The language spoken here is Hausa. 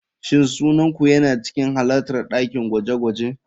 Shin sunan ku yana cikin halartar dakin gwaje-gwaje?